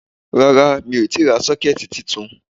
Rárá mi ò tíì ra 'Sókẹ́ẹ̀tì ' titun